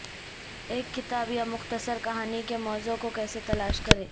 ایک کتاب یا مختصر کہانی کے موضوع کو کیسے تلاش کریں